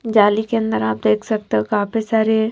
जाली के अंदर आप देख सकते हो काफी सारे --